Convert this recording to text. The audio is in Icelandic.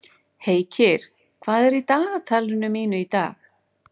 Heikir, hvað er í dagatalinu mínu í dag?